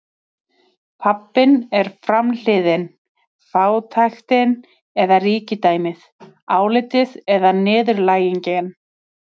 Pabbinn er framhliðin, fátæktin eða ríkidæmið, álitið eða niðurlægingin.